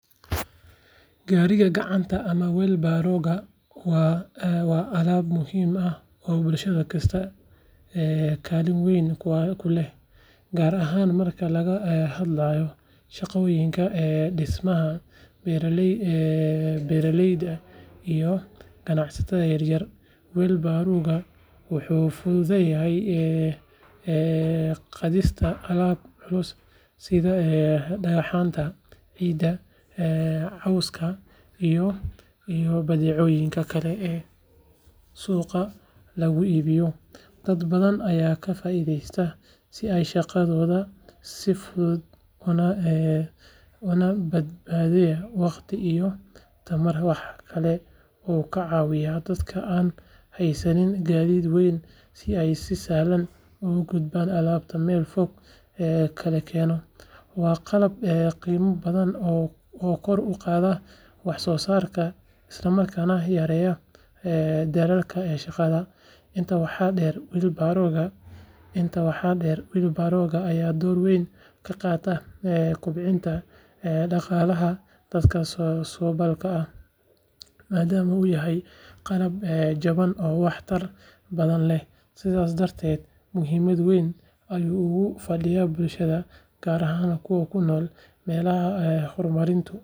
Gaariga gacanta ama weelbarrow-ga waa aalad muhiim ah oo bulsho kasta kaalin weyn ku leh, gaar ahaan marka laga hadlayo shaqooyinka dhismaha, beeraleyda iyo ganacsatada yar yar. Weelbarrow-gu wuxuu fududeeyaa qaadista alaab culus sida dhagxaanta, ciidda, cawska, iyo badeecooyinka kale ee suuqa lagu iibiyo. Dad badan ayaa ka faa’iidaysta si ay shaqadooda u fududeeyaan una badbaadiyaan waqti iyo tamar. Waxaa kale oo uu ka caawiyaa dadka aan haysan gaadiid weyn inay si sahlan u gudbiyaan alaabta meel fog laga keenayo. Waa qalab qiimo badan oo kor u qaada wax soo saarka, isla markaana yareeya daalka shaqaalaha. Intaa waxaa dheer, weelbarrow-ga ayaa door weyn ka qaata kobcinta dhaqaalaha dadka saboolka ah, maadaama uu yahay qalab jaban oo wax tar badan leh. Sidaas darteed, muhiimad weyn ayuu ugu fadhiyaa bulshada, gaar ahaan kuwa ku nool meelaha horumarinta.